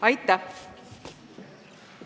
Aitäh!